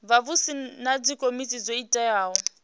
vhavhusi na dzikomiti dzo teaho